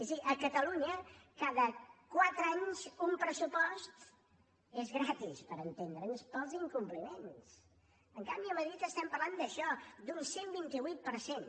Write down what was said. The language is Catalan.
és a dir a catalunya cada quatre anys un pressupost és gratis per entendre’ns pels incompliments en canvi a madrid estem parlant d’això d’un cent i vint vuit per cent